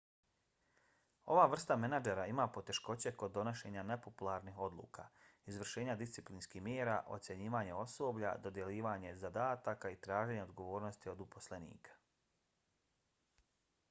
ova vrsta menadžera ima poteškoće kod donošenja nepopularnih odluka izvršenja disciplinskih mjera ocjenjivanja osoblja dodjeljivanja zadataka i traženja odgovornosti od uposlenika